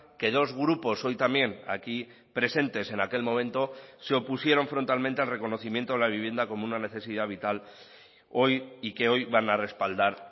que dos grupos hoy también aquí presentes en aquel momento se opusieron frontalmente al reconocimiento a la vivienda como una necesidad vital hoy y que hoy van a respaldar